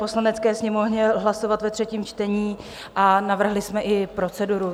Poslanecké sněmovně hlasovat ve třetím čtení a navrhli jsme i proceduru.